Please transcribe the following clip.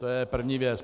To je první věc.